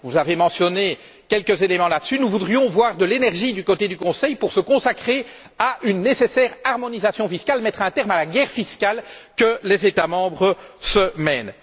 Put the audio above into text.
Vous avez mentionné quelques éléments à ce sujet mais nous voudrions voir de l'énergie du côté du Conseil pour se consacrer à une nécessaire harmonisation fiscale, pour mettre un terme à la guerre fiscale que les États membres se mènent.